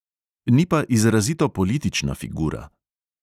Ni pa izrazito politična figura.